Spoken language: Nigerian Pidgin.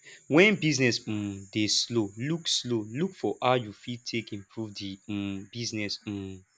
when business um dey slow look slow look for how you fit take improve di um business um